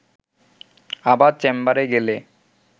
আবার চেম্বারে গেলে